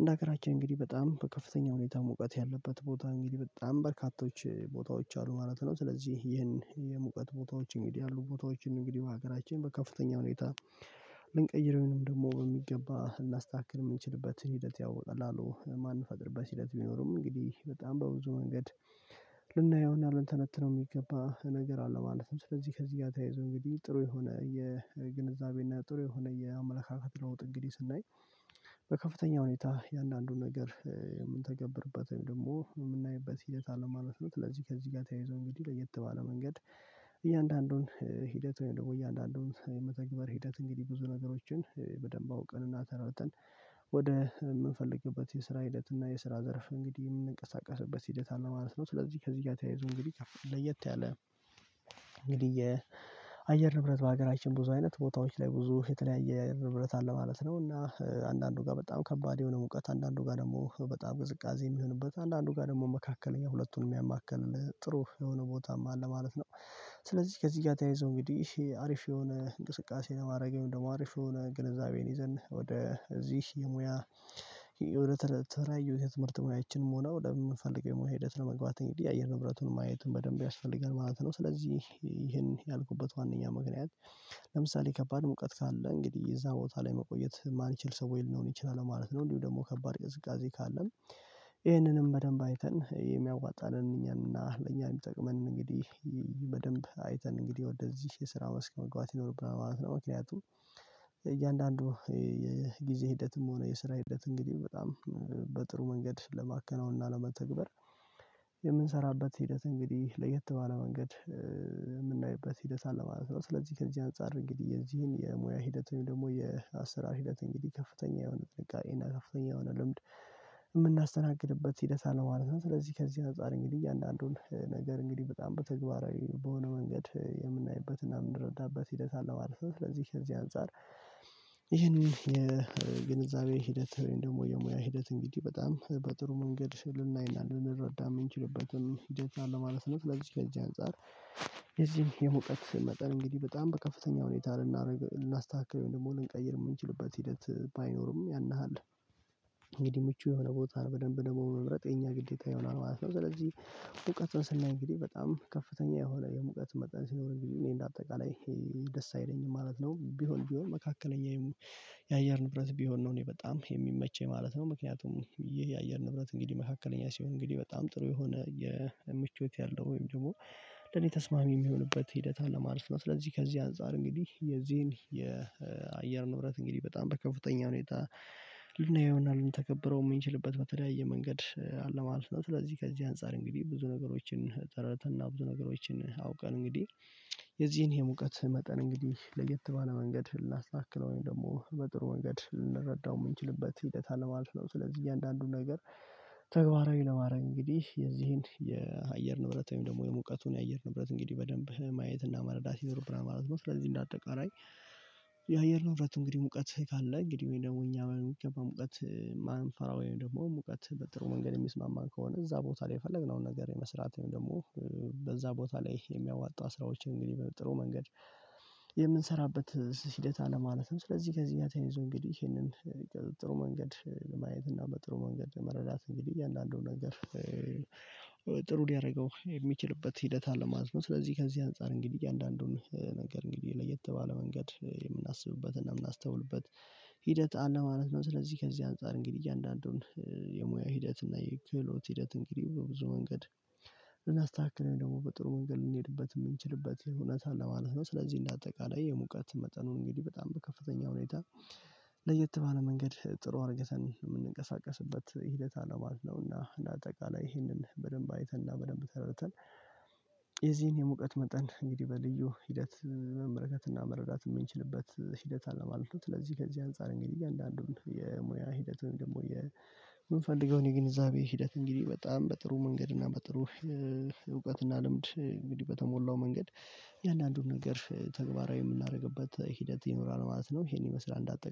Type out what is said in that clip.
እንደ ሀገራችን እንግዲህ በጣም በከፍተኛ ሁኔታ ሙቀት ያለበት ቦታ እንግዲህ በጣም በርካቶች ቦታዎች አሉ ማለት ነው። ስለዚህ ይህን የሙቀት ቦታዎች እንዲ ያሉ ቦታዎችን እንግዲህ በሀገራችን በከፍተኛ ሁኔታ ልንቀይረው ወይንም ደግሞ በሚገባ ልናስተካክል የምንችልበት ሂደት ያው በቀላሉ የማንፈቅድበት ሂደት ቢኖርም እንግዲህ በጣም በብዙ መንገድ ልናየውና ልንተነትነው የሚገባ ነገር አለው። ማለትም ስለዚህ ከዚህ ጋር ተያይዞ እንግዲህ ጥሩ የሆነ የግንዛቤ እና ጥሩ የሆነ የአመለካከት ለውጥ እንግዲህ ስናይ በከፍተኛ ሁኔታ እያንዳንዱን ነገር የምንተገብርበት ወይም ደግሞ የምናይበት ሂደት አለ ማለት ነው። ስለዚህ ከዚህ ጋር ተያይዞ እንግዲህ ለየት ባለ መንገድ እያንዳንዱን ሂደት ወይም ደግሞ እያንዳንዱን የመተግበር ሂደት እንግዲህ ብዙ ነገሮችን በደንብ አውቀን እና ተረድተን ወደ የምንፈልግበት የስራ ሂደት እና የስራ ዘርፍ እንግዲህ የምንቀሳቀስበት ሂደት አለ ማለት ነው። ስለዚህ ከዚህ ጋር ተያይዞ እንግዲህ ለየት ያለ እንግዲህ የአየር ንብረት በሀገራችን ብዙ አይነት ቦታዎች ላይ ብዙ የተለያየ የአየር ንብረት አለ ማለት ነው። እና አንዳንዱ ጋር በጣም ከባድ የሆነ ሙቀት አንዳንዱ ጋር ደግሞ በጣም ቅዝቃዜ የሚሆንበት አንዳንዱ ጋር ደግሞ መካከለኛ ሁለቱንም ያማከለ ጥሩ የሆነ ቦታም አለ ማለት ነው። ስለዚህ ከዚህ ጋር ተያይዞ እንግዲህ አሪፍ የሆነ እንቅስቃሴ ነው ማድረግ ወይም ደግሞ አሪፍ የሆነ ግንዛቤን ይዘን ወደ እዚህ የሙያ ወደ ተለያዩ የትምህርት ሙያችንም ሆነ ወደምንፈልገው የሙያ ሂደት ለመግባት እንግዲህ የአየር ንብረቱን ማየትም በደንብ ያስፈልጋል ማለት ነው። ስለዚህ ይሄን ያልኩበት ዋነኛ ምክኒያት ለምሳሌ ከባድ ሙቀት ካለ እንግዲህ እዛ ቦታ ላይ መቆየት ማልችል ሰው ወይም ልሆን እችላለው ማለት ነው። እንዲሁም ደግሞ ከባድ ቅዝቃዜ ካለም ይህንንም በደንብ አይተን የሚያዋጣንን እኛንና ለእኛ የሚጠቅመንን እንግዲህ በደንብ አይተን እንግዲህ ወደዚህ የስራ መስክ መግባት ይኖርብናል ማለት ነው። ምክንያቱም እያንዳንዱ የጊዜ ሂደትም ሆነ የስራ ሂደት እንግዲህ በጣም በጥሩ መንገድ ለማከናወን እና ለመተግበር የምንሰራበት ሂደት እንግዲህ ለየት ባለ መንገድ የምናይበት ሂደት አለ ማለት ነው። ስለዚህ ከዚህ አንፃር እንግዲህ የዚህን የሙያ ሂደት ወይም ደግሞ የአሰራር ሂደት እንግዲህ ከፍተኛ የሆነ ጥንቃቄ እና ከፍተኛ የሆነ ልምድ የምናስተናግድበት ሂደት አለ ማለት ነው። ስለዚህ ከዚህ አንፃር እንግዲህ እያንዳንዱን ነገር እንግዲህ በጣም በተግባራዊ በሆነ መንገድ የምናይበትና የምንረዳበት ሂደት አለ ማለት ነው። ስለዚህ ከዚህ አንፃር ይህንን የግንዛቤ ሂደት ወይም ደግሞ የሙያ ሂደት እንግዲህ በጣም በጥሩ መንገድ ልናይና ልንረዳ የምንችልበትም ሂደት አለ ማለት ነው። ስለዚህ ከዚህ አንፃር የዚህ የሙቀት መጠን እንግዲህ በጣም በከፍተኛ ሁኔታ ልናረግ ልናስተካክለው ወይም ደግሞ ልንቀይር የምንችልበት ሂደት ባይኖርም ያን ያህል እንግዲህ ምቹ የሆነ ቦታ በደንብ ደግሞ መምረጥ የኛ ግዴታ ይሆናል ማለት ነው። ስለዚህ ሙቀትን ስናይ እንግዲህ በጣም ከፍተኛ የሆነ የሙቀት መጠን ሲኖር እንግዲህ እኔ እንደ አጠቃላይ ይሄ ደስ አይለኝም ማለት ነው። ቢሆን ቢሆን መካከለኛ የአየር ንብረት ቢሆን ነው እኔ በጣም የሚመቸኝ ማለት ነው። ምክንያቱም ይህ የአየር ንብረት እንግዲህ መካከለኛ ሲሆን እንግዲህ በጣም ጥሩ የሆነ የምቾት ያለው ወይም ደግሞ ለኔ ተስማሚ የሚሆንበት ሂደት አለ ማለት ነው። ስለዚህ ከዚህ አንፃር እንግዲህ የዚህን የአየር ንብረት እንግዲህ በጣም በከፍተኛ ሁኔታ ልናየውና ልንተገብረው የምንችልበት በተለያየ መንገድ አለ ማለት ነው። ስለዚህ ከዚህ አንፃር እንግዲህ ብዙ ነገሮችን ተረድተንና ብዙ ነገሮችን አውቀን እንግዲህ የዚህን የሙቀት መጠን እንግዲህ ለየት ባለ መንገድ ልናስተካክለው ወይም ደግሞ በጥሩ መንገድ ልንረዳው የምንችልበት ሂደት አለ ማለት ነው። ስለዚህ እያንዳንዱን ነገር ተግባራዊ ለማድረግ እንግዲህ የዚህን የአየር ንብረት ወይም ደግሞ የሙቀቱን የአየር ንብረት እንግዲህ በደንብ ማየትና መረዳት ይኖርብናለን ማለት ነው። ስለዚህ እንደ አጠቃላይ የአየር ንብረት እንግዲህ ሙቀት ካለ እንግዲህ ወይም ደግሞ እኛ በሚገባ ሙቀት ማንፈራ ወይም ደግሞ ሙቀት በጥሩ መንገድ የሚስማማን ከሆነ እዛ ቦታ ላይ የፈለግነውን ነገር የመስራት ወይም ደግሞ በዛ ቦታ ላይ የሚያዋጣ ስራዎችን እንግዲህ ጥሩ መንገድ የምንሰራበት ሂደት አለ ማለት ነው። ስለዚህ ከዚህ ጋር ተያይዞ እንግዲህ ይሄንን ጥሩ መንገድ ለማየት እና በጥሩ መንገድ ለመረዳት እንግዲህ እያንዳንዱ ነገር ጥሩ ሊያደርገው የሚችልበት ሂደት አለ ማለት ነው። ስለዚህ ከዚህ አንፃር እንግዲህ እያንዳንዱን ነገር እንግዲህ ለየት ባለመንገድ የምናስብበትና የምናስተውልበት ሂደት አለ ማለት ነው። ስለዚህ ከዚህ አንፃር እንግዲህ እያንዳንዱን የሙያ ሂደት እና የክህሎት ሂደት እንግዲህ በብዙ መንገድ ልናስተካክል ወይ ደግሞ በጥሩ መንገድ ልንሄድበት የምንችልበት እውነት አለ ማለት ነው። ስለዚህ እንደ አጠቃላይ የሙቀት መጠኑን እንግዲህ በጣም በከፍተኛ ሁኔታ ለየት ባለ መንገድ ጥሩ አድርገን የምንቀሳቀስበት ሂደት አለ ማለት ነውና እንደ አጠቃላይ ይህንን በደንብ አይተንና በደንብ ተረድተን የዚህን የሙቀት መጠን እንግዲህ በልዩ ሂደት መመልከትና መረዳት የምንችልበት ሂደት አለ ማለት ነው። ስለዚህ ከዚህ አንፃር እንግዲህ አንዳንዱን የሙያ ሂደት ወይም ደግሞ የምንፈልገውን የግንዛቤ ሂደት እንግዲህ በጣም በጥሩ መንገድ እና በጥሩ እውቀትእና ልምድ እንግዲህ በተሞላው መንገድ እያንዳንዱን ነገር ተግባራዊ የምናደርግበት ሂደት ይኖራል ማለት ነው። ይሄን ይመስላል እንዳጠቃላይ